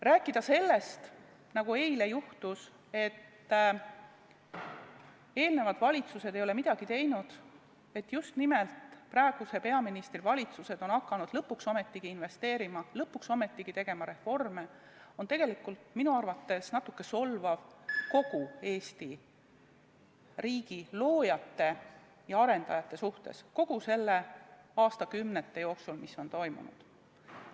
Rääkida sellest – nagu eile juhtus –, et eelmised valitsused ei ole midagi teinud ja just nimelt praeguse peaministri valitsused on hakanud lõpuks ometigi investeerima, lõpuks ometigi tegema reforme, on tegelikult minu arvates natuke solvav kogu Eesti riigi loojate ja arendajate suhtes, kogu selle aja, aastakümnete jooksul, mis on toimunud.